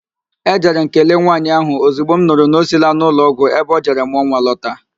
Ejere m kelee nwaanyị ahụ ozigbo m nụrụ na o siila n'ụlọọgwụ ebe o jere mụọ nwa lọta